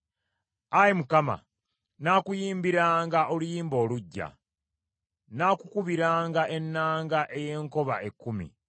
Ayi Mukama , nnaakuyimbiranga oluyimba oluggya; nnaakukubiranga ennanga ey’enkoba ekkumi,